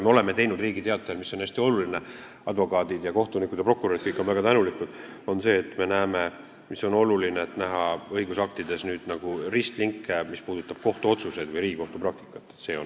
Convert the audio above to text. Me oleme teinud Riigi Teatajas seda, mis on hästi oluline ja mille eest advokaadid, kohtunikud ja prokurörid on väga tänulikud, see on see, et õigusaktides on nüüd näha ristlinke, mis puudutab kohtuotsuseid või Riigikohtu praktikat.